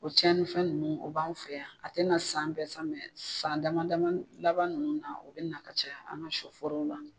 O cɛnin fɛn ninnu o b'an fɛ yan, a tɛna san bɛɛ ,san dama laban ninnu na , o bɛ na ka caya an ka sɔ forow la.